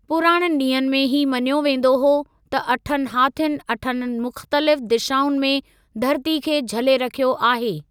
पुराणनि ॾींहनि में ही मञियो वेंदो हो त अठनि हाथियुनि अठनि मुख़्तलिफ़ु दिशाउनि में धरती खे झले रखियो आहे।